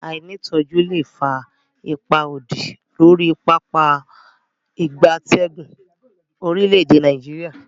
Aini itoju le fa ipa odi lori Pápá ìgbatẹ́gùn orile-ede Nigeria.